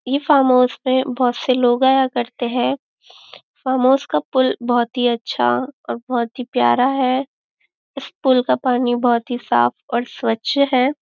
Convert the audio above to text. ये फार्महाउस पे बहुत से लोग आया करते है फार्महाउस का पुल बहुत ही अच्छा और बहुत ही प्यारा है इस पुल का पानी बहुत ही साफ और स्वच्छ है।